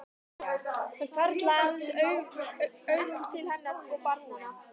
Hann hvarflar aðeins augum til hennar og barnanna.